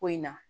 Ko in na